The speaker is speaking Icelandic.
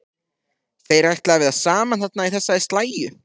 Þeir ætla að vera saman þarna í þessari slægju.